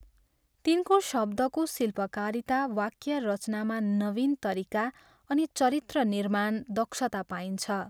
तिनको शब्दको शिल्पकारिता, वाक्य रचनामा नवीन तरिका अनि चरित्र निर्माण दक्षता पाइन्छ।